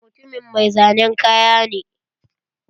Mutumin mai zanen kaya ne.